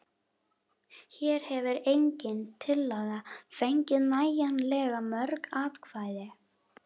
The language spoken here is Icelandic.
Hér hefur engin tillaga fengið nægjanlega mörg atkvæði.